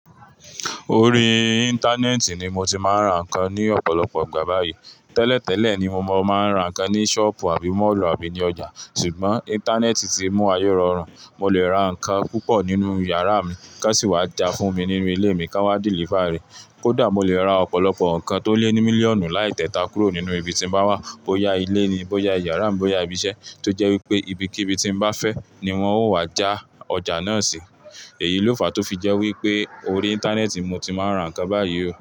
Orí Íńtánẹ́ẹ̀tì ni mo ti máa ń ra nǹkan ní ọ̀pọ̀lọpọ̀ ìgbà báyìí. Tẹ́lẹ̀tẹ́lẹ̀ ni mo máa ń ra nǹkan ní ṣọ́ọ̀bù àbí mọ́ọ̀lù àbí ní ọjà. Ṣùgbọ́n Íńtánẹ́ẹ̀tì ti mú ayé rọrùn, mo lè ra nǹkan púpọ̀ nínú yàrá mi ká sì wá já fún mi nílé mi ká wá dìlífaà rẹ̀. Kódà mo lè ra ọ̀pọ̀lọpọ̀ nǹkan tó lé ní mílíọ̀nù láì tẹta kúrò nínú ibi tí mo bá wà; bó ya ilé ni, bó ya iyàrá mi, bó ya ibi iṣẹ́, tó jẹ́ wípé ibikíbi tí mo bá fẹ́ ni wón ó wá já ọjà náà sí. Èyí ló fa tó fi jẹ́ wípé orí Íńtánẹ́ẹ̀tì mo ti máa ń ra nǹkan báyìí.